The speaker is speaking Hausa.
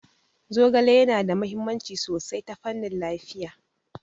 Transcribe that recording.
Zogale yana da mahimmanci sosai ta fannin lafiya.